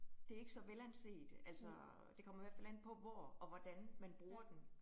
Det ikke så velanset, altså det kommer i hvert fald an på, hvor og hvordan man bruger den